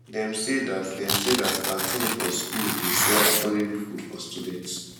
dem sey dat dem sey dat canteen for school dey sell affordable food for students